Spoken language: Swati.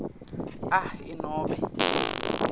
a i nobe